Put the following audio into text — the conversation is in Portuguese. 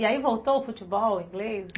E aí, voltou o futebol, o inglês?